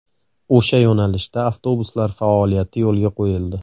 O‘sha yo‘nalishda avtobuslar faoliyati yo‘lga qo‘yildi.